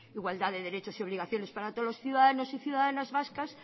igualdad de derechos y obligaciones para todos los ciudadanos y ciudadanas vascas